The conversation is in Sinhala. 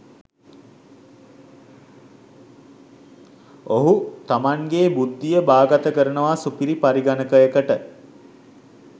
ඔහු තමන්ගේ බුද්ධිය බාගත කරනවා සුපිරි පරිගණකයකට